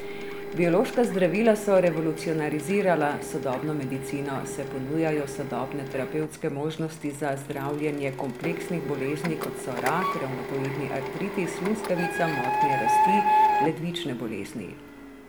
Biološka zdravila so revolucionarizirala sodobno medicino, saj ponujajo sodobne terapevtske možnosti za zdravljenje kompleksnih bolezni, kot so rak, revmatoidni artritis, luskavica, motnje rasti, ledvične bolezni ...